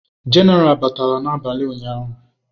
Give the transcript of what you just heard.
Genaral batara n'abalị ụnyahụ.